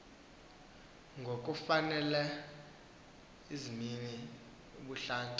ngokufakela izimnini ubuhlanti